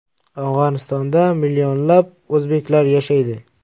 Afg‘onistonda millionlab o‘zbeklar yashaydi.